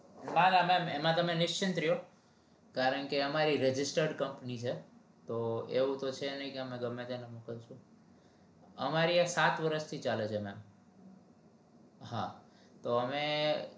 ના ના મેમ એમાં તને નિશ્ચિત રો કારણકે એમાં register company છે તો એવું થશે નહિ કે અમે ગમે તેને મોકલીસું